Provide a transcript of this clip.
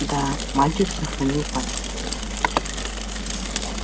да мальчик сохранил память